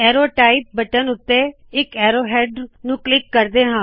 ਔਰੌ type button ਅਤੇ ਇਕ arrow head click ਕਰੋ